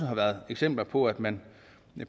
har været eksempler på at man